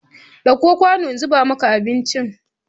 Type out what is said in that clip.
Ɗauko kwanu in zuba maka abinci ka ci!